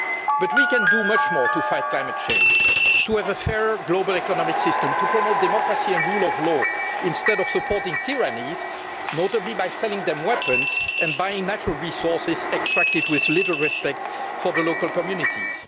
But we can do much more to fight climate change, to have a fairer global economic system, and to promote democracy and the rule of law instead of supporting tyrannies, notably by selling them weapons and buying natural resources extracted with little respect for the local communities.